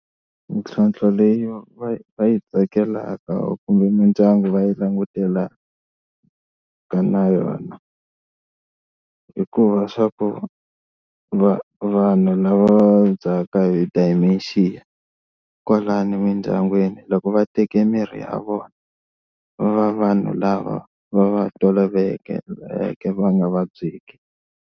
Mintlhotlho leyi va yi va yi tsakelaka kumbe mindyangu va yi langutelaka na yona i ku va swa ku va vanhu lava va vabyaka hi dementia kwalano emindyangwini loko va teke mirhi ya vona va va vanhu lava va va tolovelekeke va nga vabyeki.